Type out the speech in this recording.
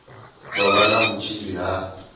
vha vha na vhutsila ha